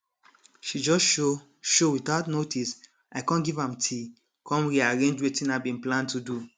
she just show show without notice i com give am tea com rearrange wetin i bin plan to do